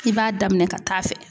I b'a daminɛ ka taa fɛ